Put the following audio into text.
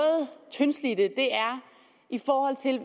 tyndslidte er i forhold til